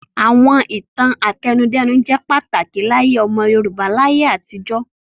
Àwọn ìtàn àtẹnudẹ́nu jẹ́ pàtàkì láyé ọmọ Yorùbá láyé àtijó.